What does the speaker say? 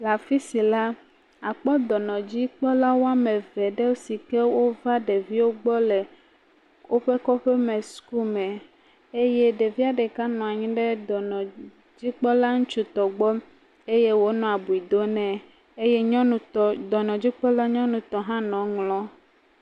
Le afi sia la, akpɔ dɔnɔdzikpɔlawo wɔme eve aɖe si ke wova ɖeviawo gbɔ le woƒe kɔƒeme suku me eye ɖevia ɖeka nɔ anyi ɖe dɔnɔdzikpɔla ŋutsutɔ gbɔ eye wo le abiu dom nɛ eye nyɔnutɔ dɔnɔdzikpɔla nyɔnutɔ hã nɔ eŋlɔm.